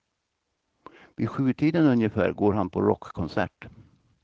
Vid sjutiden ungefär går han på rockkonsert.